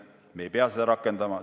Me ei pea seda rakendama!